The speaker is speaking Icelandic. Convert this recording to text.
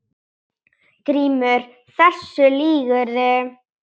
GRÍMUR: Þessu lýgurðu!